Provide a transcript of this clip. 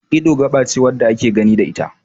Ido gaba ce wanda ake gani da ita